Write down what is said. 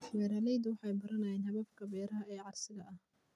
Beeraleydu waxay baranayaan hababka beeraha ee casriga ah.